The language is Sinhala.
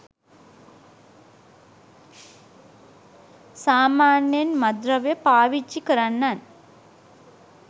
සාමාන්‍යයෙන් මත්ද්‍රව්‍ය පාවිච්චි කරන්නන්